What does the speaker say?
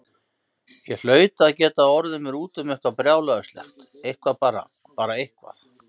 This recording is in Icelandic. Ég hlaut að geta orðið mér úti um eitthvað brjálæðislegt, eitthvað, bara eitthvað.